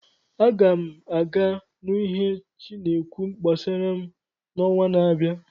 Aga m aga nụ ihe chi na-ekwu gbasara m n'ọnwa na-abịa.